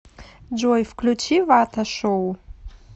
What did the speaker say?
джой включи вата шоу